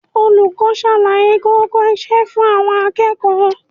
Olùkọ́ ń ṣàlàyé kókó iṣẹ́ fún àwọn akẹ́kọ̀ọ́